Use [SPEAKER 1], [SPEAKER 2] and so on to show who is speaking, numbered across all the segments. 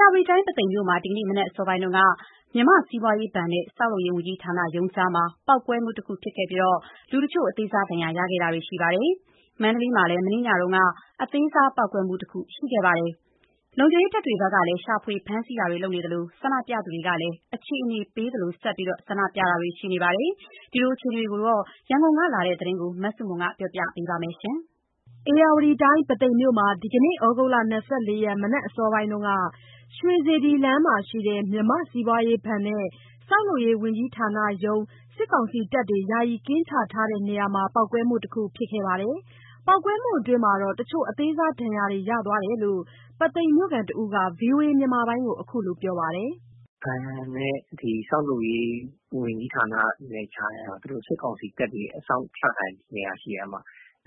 [SPEAKER 1] ရာဝတီတိုင်း ပုသိမ်မြို့မှာ ဒီနေ့မနက် အစောပိုင်းက မြန်မာ့စီးပွားရေးဘဏ်နဲ့ ဆောက်လုပ်ရေးဝန်ကြီးဌာနရုံးကြားမှာ ပေါက်ကွဲမှု တစ်ခု ဖြစ်ခဲ့ပြီး လူတချို့ အသေးစား ဒဏ်ရာတွေ ရခဲ့ကြပါတယ်။ မန္တလေးမှာလည်း မနေ့ညက အသေးစားပေါက်ကွဲမှုတခု ဖြစ်ခဲ့ပါတယ်။ လုံခြုံရေးတပ်တွဘက်ကလည်း ရှာဖွေ ဖမ်းဆီးမှုတွေ လုပ်နေသလို ဆန္ဒပြသူတွေကလည်း အခြေအနေပေးသလို ဆန္ဒပြနေကြပါတယ်။ ခုလိုအခြေအနေတွေအကြောင်း ရန်ကုန်ကလာတဲ့သတင်းကို မစုမြတ်မွန်ကပြောပြပါမယ်။
[SPEAKER 2] ဧရာဝတီတိုင်း ပုသိမ်မြို့ မှာ ဒီနေ့ သြဂုတ် ၂၄ ရက် မနက်အစောပိုင်းက ရွှေစေတီလမ်းမှာရှိတဲ့ မြန်မာ့စီးပွားရေးဘဏ်နဲ့ ဆောက်လုပ်ရေး ဝန်ကြီးဌာနရုံးကြား စစ်ကောင်စီတပ်တွေ ယာယီကင်းချတဲ့ နေရာမှာ ပေါက်ကွဲမှု တခုဖြစ်ခဲ့ပါတယ်။ ပေါက်ကွဲမှုအတွင်း တချို့ အသေးစားဒဏ်ရာတွေ ရသွားတယ်လို့ ပုသိမ်မြို့ခံတစ်ဦး VOAကို အခုလိုပြောပါတယ်။
[SPEAKER 3] “ပုသိမ်ဘဏ်နဲ့ ဒီဆောက်လုပ်ရေး ဝန်ကြီးဌာနနဲ့ ကြားက သူတို့ စစ်ကောင်စီတပ်တွေ အစောင့်ချထားတဲ့ နေရာရှိတယ်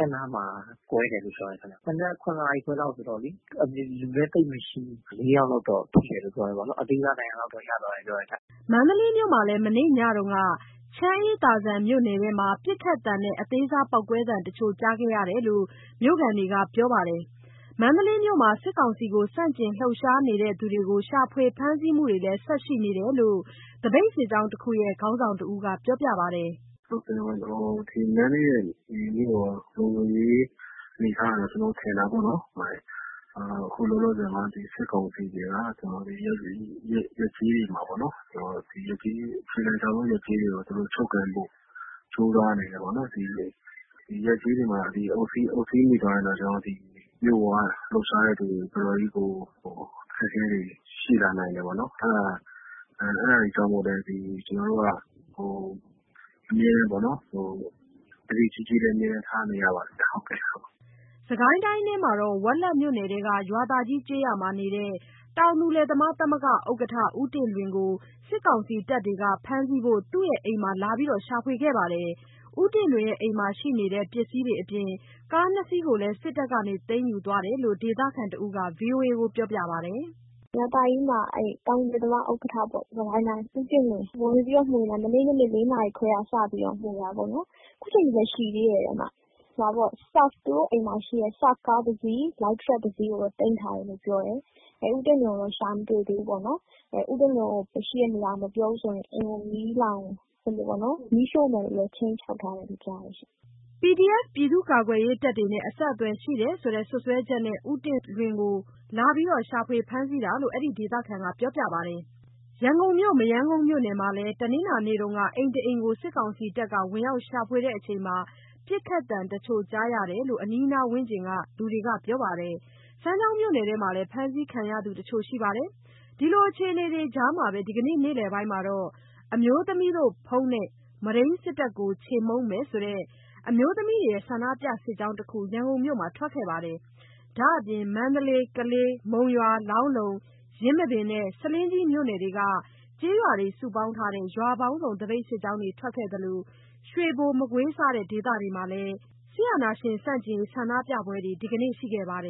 [SPEAKER 3] အဲ့နားမှာ ကွဲတယ်လို့ပြောတယ်ခင်ဗျ မနက် ၇ နာရီခွဲလောက်ဆိုတော့လေး အပြင်မှာ လူလည်းသိပ်မရှိဘူး ဆိုတော့ လေးယောက်လောက်တော့ ထိတယ်လို့ ပြောတယ်ပေါ့နော် အသေးစားဒဏ်ရာလောက်တော့ ရသွားတယ်ပြောတယ်”
[SPEAKER 2] မန္တလေးမြို့မှာလည်း မနေ့ညက ချမ်းအေးသာဇံမြို့နယ်ထဲမှာ ပစ်ခတ်သံနဲ့ အသေးစားပေါက်ကွဲသံတချို့ကြားခဲ့ရတယ်လို့ မြို့ခံတွေက ပြောပါတယ်။ မန္တလေးမြို့မှာ စစ်ကောင်စီကို ဆန့်ကျင်လှုပ်ရှားနေသူတွေကို ရှာဖွေ ဖမ်းဆီးမှုတွေလည်း ဆက်ရှိနေလို့ သပိတ်စစ်ကြောင်းတစ်ခုရဲ့ ခေါင်းဆောင်တစ်ဦးက ပြောပါတယ်။
[SPEAKER 4] “အခု မန္တလေးရဲ့ လုံခြုံရေး အနေအထားက ကျွန်တော်ထင်တာပေါ့နှော်၊ အခု လောလောဆယ်မှာ ဒီစစ်ကောင်စီတွေက ဒီရပ်ကျေးတွေ တစ်ခုလုံးကို သူတို့ ချုပ်ကိုင်ဖို့ ကြိုးစားနေတယ်ပေါ့။ ဒီရပ်ကျေးတွေမှာ သူတို့ အုပ်စီးမိသွားရင်တော့ မြို့ပေါမှာ လှုပ်ရှားတဲ့သူတွေ တော်တော်လေးကို အခက်အခဲတွေ ရှိလာနိုင်တယ်ပေါ့နှော်။ အဲ့ဒါတွေကြောင့်လဲ ကျွန်တော်တို့က အမြဲတမ်းပေါ့နှော်၊ သတိကြီးကြီး အမြဲတမ်းထားနေရပါတယ်ဗျ။
[SPEAKER 2] ” စစ်ကိုင်းတိုင်းမှာတော့ ဝက်လက်မြို့နယ်ထဲက ရွာသာကြီး ကျေးရွာနေ တောင်သူလယ်သမားသမဂ္ဂ ဥက္ကဌ ဦးတင့်လွင်ကို စစ်ကောင်စီတပ်တွေက ဖမ်းဆီးဖို့ သူ့အိမ်မှာ လာရောက်ရှာဖွေခဲ့ပါတယ်။ ဦးတင့်လွင်ရဲ့ အိမ်မှာရှိနေတဲ့ ပစ္စည်းတွေအပြင် ကား ၂ စီကို စစ်တပ်က သိမ်းယူသွားတယ်လို့ ဒေသခံတစ်ဦးက VOA ကို ပြောပြပါတယ်။ “ရွာသာကြီးမှာ တောင်သူလယ်သမား သမဂ္ဂ ဥက္ကဌပေါ့၊ ဦးတင့်လွင်။ အဲ့ကို ဝင်မွေတာ မနေ့ညနေ ၄ နာရီလောက်တည်းက စပြီး ဝင်မွေတာပေါ့။ ခုအချိန်ထိလဲ ရှိသေးတယ်။ သူတို့ အိမ်မှာ ရှိတဲ့ SUFF ကားတစ်စီး၊ လိုက်ထရပ်ကားတစ်စီး သိမ်းသွားတယ်။ ဦးတင့်လွင်ကိုတော့ ရှာမတွေ့ဘူးပေါ့။ ဦးတင့်လွင် ရှိတဲ့ နေရာကို မပြောရင် အိမ်ကို မီးရှို့မယ်လို့ လည်း ခြိမ်းခြောက်ထားတယ်လို့ ကြားတယ်ရှင့်။” PDF ပြည်သူ့ကာကွယ်ရေးတပ်တွေနဲ့ အဆက်အသွယ်ရှိတယ်ဆိုတဲ့ စွပ်စွဲချက်နဲ့ ဦးတင့်လွင်ကို လာရှာနေတာလို့ အဲဒီဒေသခံက ပြောပြပါတယ်။ ရန်ကုန်မြို့ မရမ်းကုန်မြို့နယ်မှာလည်း တနင်္လာနေ့က အိမ်တအိမ်ကို စစ်ကောင်စီတပ်တွေက ဝင်ရောက်ရှာဖွေစဉ် ပစ်ခတ်သံတချို့ကြားရတယ်လို့ အနီးအနားဝန်းကျင်က လူတွေက ပြောပြပါတယ်။ စမ်းချောင်းမြို့နယ်ထဲမှာလည်း ဖမ်းဆီးခံရသူတချို့ရှိပါတယ်။ ဒီလိုအခြေအနေကြားမှာပဲ ဒီနေ့နေ့လည်ပိုင်းကတော့ ‘အမျိုးသမီးတို့ ဘုန်းနဲ့ မုဒိမ်းစစ်တပ်ကို ချေမှုန်းမယ်’ ဆိုတဲ့ အမျိုးသမီးတွေရဲ့ ဆန္ဒပြစစ်ကြောင်းတစ်ခု ရန်ကုန်မြို့မှာ ထွက်ခဲ့ပါတယ်။ ဒါမပြင် မန္တလေး၊ ကလေး၊ မုံရွာ၊ လောင်းလုံ၊ ယင်းမာပင်နဲ့ ဆားလင်းကြီး မြို့နယ်က ကျေးရွာတွေ စုပေါင်းထားတဲ့ ရွာပေါင်းစုံသပိတ် စစ်ကြောင်းတွေ ထွက်ခဲ့သလို ရွေဘို၊ မကွေး၊ စတဲ့ ဒေသတွေမှာလည်း စစ်အာဏာရှင် ဆန့်ကျင်ရေး ဆန္ဒ
[SPEAKER 1] ပြပွဲတွေ ဒီကနေ့ ရှိခဲ့ပါတယ်